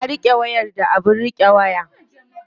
Ya riƙe wayar da abin riƙe waya.